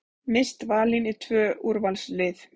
Mist valin í tvö úrvalslið